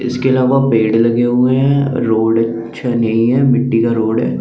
इसके अलावा पेड़ लगे हुए है रोड अच्छा है नही है मिटटी का रोड है।